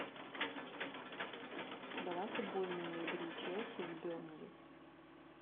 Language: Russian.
давай футбольную игру челси с бернли